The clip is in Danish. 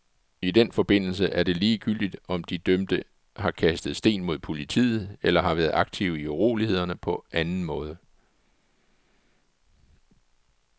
I den forbindelse er det ligegyldigt, om de dømte har kastet sten mod politiet eller har været aktive i urolighederne på anden måde.